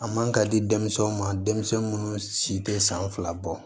A man ka di denmisɛnw ma denmisɛnnin munnu si tɛ san fila bɔ